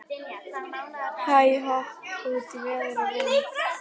Hæ-hopp út í veður og vind.